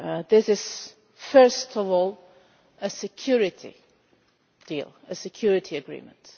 This is first of all a security deal, a security agreement.